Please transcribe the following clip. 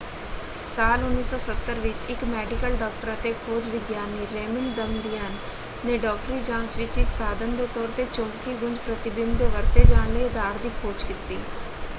ਸਾਲ 1970 ਵਿੱਚ ਇੱਕ ਮੈਡੀਕਲ ਡਾਕਟਰ ਅਤੇ ਖੋਜ ਵਿਗਿਆਨੀ ਰੇਮੰਡ ਦਮਦਿਅਨ ਨੇ ਡਾਕਟਰੀ ਜਾਂਚ ਵਿੱਚ ਇੱਕ ਸਾਧਨ ਦੇ ਤੌਰ 'ਤੇ ਚੁੰਬਕੀ ਗੂੰਜ ਪ੍ਰਤੀਬਿੰਬ ਦੇ ਵਰਤੇ ਜਾਣ ਲਈ ਅਧਾਰ ਦੀ ਖੋਜ ਕੀਤੀ।